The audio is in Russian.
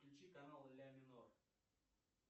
включи канал ля минор